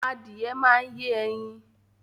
Adìẹ máa yẹ ẹyin